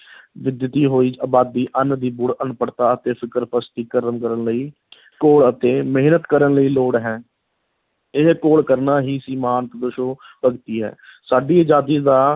ਵੱਧਦੀ ਹੋਈ ਆਬਾਦੀ, ਅੰਨ੍ਹ ਦੀ ਬੁੜ, ਅਨਪੜਤਾ ਅਤੇ ਫ਼ਿਰਕਾਪ੍ਰਸਤੀ ਲਈ ਘੋਲ ਅਤੇ ਮਿਹਨਤ ਕਰਨ ਦੀ ਲੋੜ ਹੈ, ਇਹ ਘੋਲ ਕਰਨਾ ਹੀ ਭਗਤੀ ਹੈ ਸਾਡੀ ਅਜਾਦੀ ਦਾ